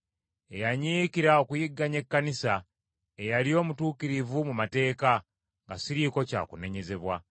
eyanyiikira okuyigganya ekkanisa, eyali omutuukirivu mu mateeka, nga siriiko kya kunenyezebwa.